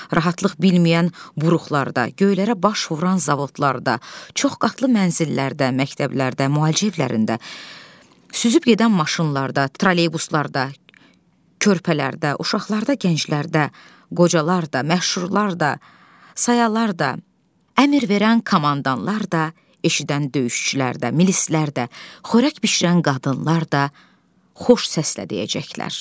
Rahatlıq bilməyən buruqlarda, göylərə baş vuran zavodlarda, çox qatlı mənzillərdə, məktəblərdə, müalicə evlərində süzüb gedən maşınlarda, trolleybuslarda, körpələrdə, uşaqlarda, gənclərdə, qocalar da, məşhurlar da, sayalar da, əmr verən komandalar da, eşidən döyüşçülər də, milislər də, xörək bişirən qadınlar da xoş səslə deyəcəklər.